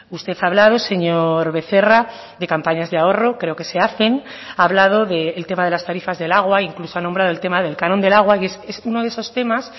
usted ha hablado señor becerra de campañas de ahorro creo que se hacen ha hablado del tema de las tarifas del agua incluso ha nombrado el tema del canon del agua y es uno de esos temas